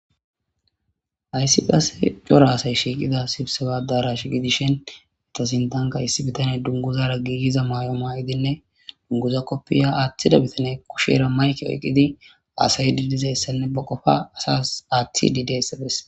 Hayssi qase cora aasay shiiqida sibsewadarash gidishin etasintanka issi bitane dunguzara giigiza may'oma'idinne dunguza koppiya aaththida bitane kushera mayke oyqqidi aasay dilizayssanne ba qofa asas aaththi diideyssades.